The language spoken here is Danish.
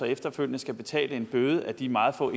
efterfølgende skal betale en bøde af de meget få